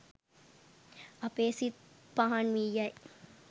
අපේ සිත් පහන් වී යයි.